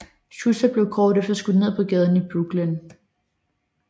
Schuster blev kort efter skudt ned på gaden i Brooklyn